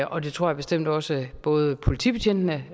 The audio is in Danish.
og det tror jeg bestemt også at både politibetjentene